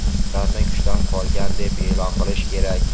ularni kuchdan qolgan deb e’lon qilish kerak.